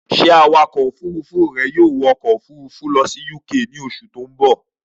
Ṣé Awakọ̀ òfurufú rẹ yóò wọ ọkọ̀ òfurufú lọ sí UK ní oṣù tó ń bọ̀?